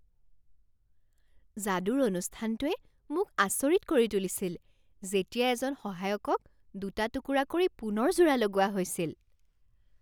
যাদুৰ অনুষ্ঠানটোৱে মোক আচৰিত কৰি তুলিছিল যেতিয়া এজন সহায়কক দুটা টুকুৰা কৰি পুনৰ জোৰা লগোৱা হৈছিল।